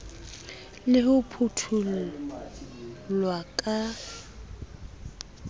le ho phutho llwa ka